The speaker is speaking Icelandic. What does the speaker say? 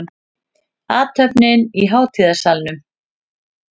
Athöfnin í hátíðasalnum